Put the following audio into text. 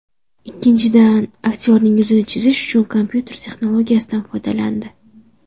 Ikkinchidan, aktyorning yuzini chizish uchun kompyuter texnologiyasidan foydalandi.